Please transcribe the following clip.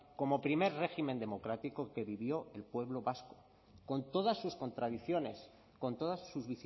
como primer régimen democrático que vivió el pueblo vasco con todas sus contradicciones con todas sus